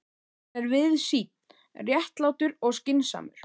Hann er víðsýnn, réttlátur og skynsamur.